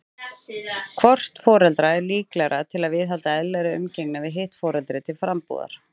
Hvort foreldra er líklegra til að viðhalda eðlilegri umgengni við hitt foreldri til frambúðar?